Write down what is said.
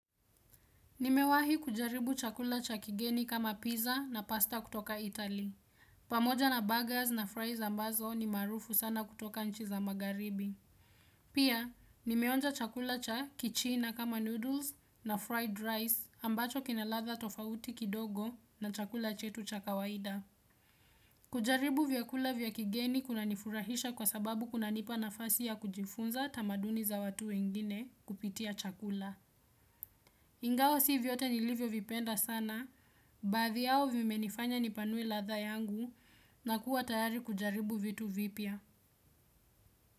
Nimewahi kujaribu chakula cha kigeni kama pizza na pasta kutoka itali. Pamoja na baggers na fries ambazo ni marufu sana kutoka nchi za magaribi. Pia, nimeonja chakula cha kichina kama noodles na fried rice ambacho kinaladha tofauti kidogo na chakula chetu cha kawaida. Kujaribu vyakula vya kigeni kuna nifurahisha kwa sababu kuna nipa nafasi ya kujifunza tamaduni za watu wengine kupitia chakula. Ingawa si viyote nilivyo vipenda sana, baadhi yao vimenifanya nipanue ladha yangu na kuwa tayari kujaribu vitu vipya.